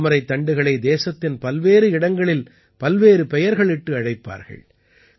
தாமரைத் தண்டுகளை தேசத்தின் பல்வேறு இடங்களில் பல்வேறு பெயர்களிட்டு அழைப்பார்கள்